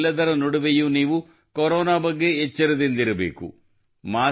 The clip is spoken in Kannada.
ಇದೆಲ್ಲದರ ನಡುವೆಯೂ ನೀವು ಕೊರೊನಾ ಬಗ್ಗೆ ಎಚ್ಚರದಿಂದಿರಬೇಕು